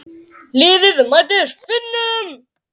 Liðið mætir Finnum.